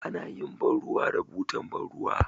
Anayin ban ruwa da butar ban ruwa